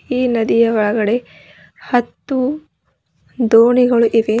ಈ ನದಿಯ ಒಳಗಡೆ ಹತ್ತು ದೋಣಿಗಳು ಇವೆ.